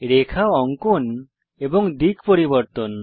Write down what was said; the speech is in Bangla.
রেখা অঙ্কন এবং দিক পরিবর্তন